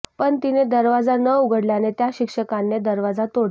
पण तिने दरवाजा न उघडल्याने त्या शिक्षकांने दरवाजा तोडला